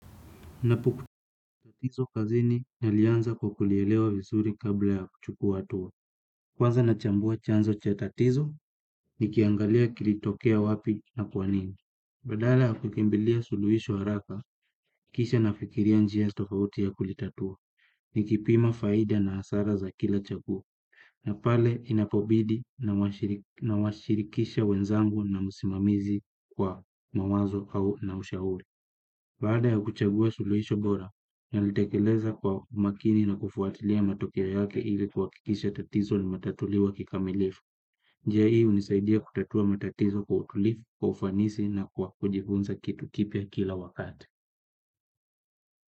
Napukutatizo kazini nalianza kwa kulielewa vizuri kabla ya kuchuku atuwa. Kwaza nachambua chanzo chatatizo, nikiangalia kilitokea wapi na kwanini. Badala ya kukimbilia suluhisho haraka, kisha nafikiria njia tofauti ya kulitatua, ni kipima faida na hasara za kila chaguo. Na pale inapobidi nawashirikisha wenzangu na musimamizi kwa mawazo na ushauri. Paada ya kuchagua suluisho bora, nalitekeleza kwa makini na kufuatilia matokeo yake ili kwakikisha tatizo limetatuliwa kikamilifu. Njia hii unisaidia kutatua matatizo kwa utulifu, kufanisi na kwa kujifunza kitu kipia kila wakati.